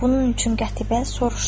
Bunun üçün Qətibə soruşdu: